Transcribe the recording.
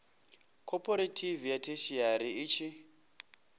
khophorethivi ya theshiari i tshi